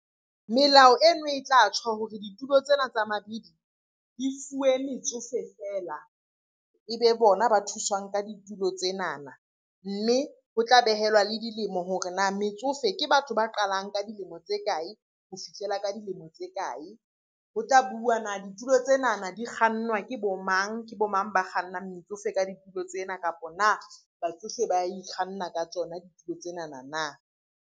Melao eno e tla tjho hore ditulo tsena tsa mabidi di fuwe metsofe feela. Ebe bona ba thuswang ka ditulo tsenana, mme ho tla behelwa le dilemo hore na metsofe ke batho ba qalang ka dilemo tse kae? Ho fihlela ka dilemo tse kae? Ho tla bua na ditulo tsenana di kgannwa ke bo mang? Ke bo mang ba kgannang metsofe ka ditulo tsena? Kapa na batsofe ba ikganna ka tsona ditulo tsenana na?